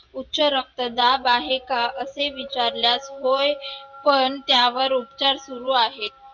उच्च रक्तदाब आहे का? असे विचारल्यास होय पण त्यावर उपचार सुरु आहेत.